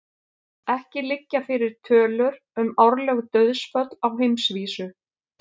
Ekki liggja fyrir tölur um árleg dauðsföll á heimsvísu.